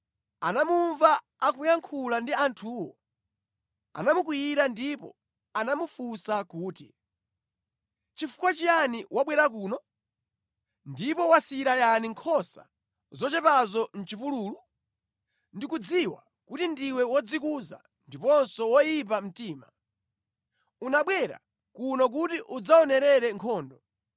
Eliabu, mkulu wake wa Davide, atamumva akuyankhula ndi anthuwo, anamukwiyira ndipo anamufunsa kuti, “Nʼchifukwa chiyani wabwera kuno? Ndipo wasiyira yani nkhosa zochepazo mʼchipululu? Ndikudziwa kuti ndiwe wodzikuza ndiponso woyipa mtima. Unabwera kuno kuti udzaonere nkhondo.”